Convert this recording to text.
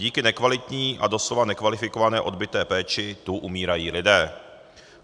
Díky nekvalitní a doslova nekvalifikované odbyté péči tu umírají lidé.